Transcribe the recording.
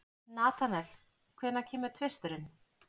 Natanael, hvenær kemur tvisturinn?